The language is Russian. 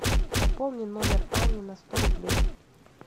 пополни номер ани на сто рублей